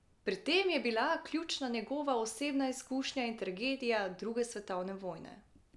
Pri tem je bila ključna njegova osebna izkušnja in tragedija druge svetovne vojne.